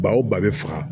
Ba o ba bɛ faga